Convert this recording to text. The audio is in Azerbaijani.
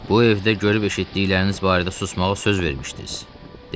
Bu evdə görüb eşitdikləriniz barədə susmağa söz vermişdiniz, deyilmi?